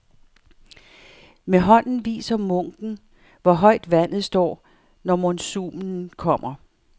Med hånden viser munken, hvor højt vandet står, når monsunen kommer.